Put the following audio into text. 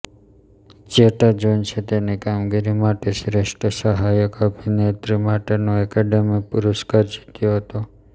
ઝેટાજોન્સે તેની કામગીરી માટે શ્રેષ્ઠ સહાયક અભિનેત્રી માટેનો એકેડેમી પુરસ્કાર જીત્યો હતો